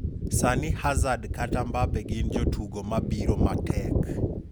"Sani Hazard kata Mbappe gin jotugo ma biro matek'.